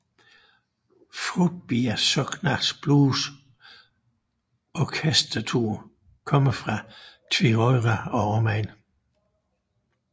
Froðbiar Sóknar Blues Orkestur kommer fra Tvøroyri og omegn